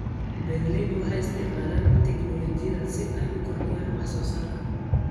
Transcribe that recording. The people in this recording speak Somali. Beeraleydu waxay isticmaalaan tignoolajiyada si ay u kordhiyaan wax soo saarka.